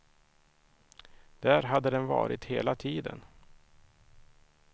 Där hade den varit hela tiden.